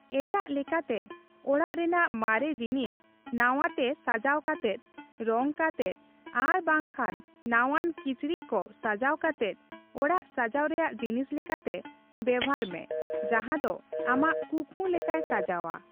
ᱮᱴᱟᱜ ᱞᱮᱠᱟᱛᱮ ᱚᱲᱟᱜ ᱨᱮᱱᱟᱜ ᱢᱟᱨᱮ ᱡᱤᱱᱤᱥ ᱱᱟᱣᱟ ᱛᱮ ᱥᱟᱡᱟᱣ ᱠᱟᱛᱮᱫ, ᱨᱚᱝ ᱠᱟᱛᱮᱫ ᱟᱨ ᱵᱟᱝ ᱠᱷᱟᱱ ᱱᱟᱣᱟᱱ ᱠᱤᱪᱨᱤᱪ ᱠᱚ ᱥᱟᱡᱟᱣ ᱠᱟᱛᱮᱫ ᱚᱲᱟᱜ ᱥᱟᱡᱟᱣ ᱨᱮᱭᱟᱜ ᱡᱤᱱᱤᱥ ᱞᱮᱠᱟᱛᱮ ᱵᱮᱵᱷᱟᱨ ᱢᱮ ᱡᱟᱸᱦᱟ ᱫᱚ ᱟᱢᱟᱜ ᱠᱩᱠᱢᱩ ᱞᱮᱠᱟᱭ ᱥᱟᱡᱟᱣᱟ ᱾